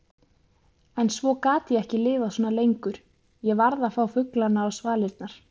En svo gat ég ekki lifað svona lengur, ég varð að fá fuglana á svalirnar.